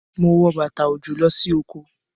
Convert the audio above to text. Mo wọ bàtà òjò lọ sí oko.